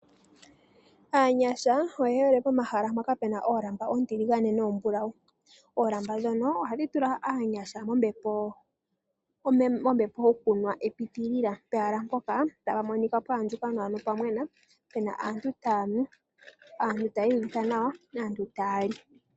Aanyasha oye hole pomahala mpoka pena oolamba oontiligane noombulawu. Oolamba ndhono ohadhi tula aanyasha mombepo yokunwa epiitilila pehala mpoka tapu monika pwa andjuka nawa nopwamwena, pena aantu taya nu, aantu taya i uvitha nawa yo taya li.